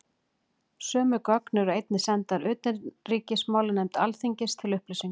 Sömu gögn eru einnig sendar utanríkismálanefnd Alþingis til upplýsingar.